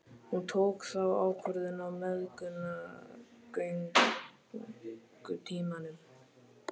Hún tók þá ákvörðun á meðgöngutímanum.